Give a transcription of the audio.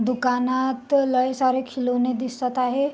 दुकानात लय सारे खिलोने दिसत आहे.